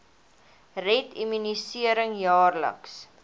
red immunisering jaarliks